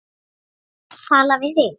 Tala við þig?